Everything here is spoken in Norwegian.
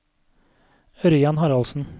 Ørjan Haraldsen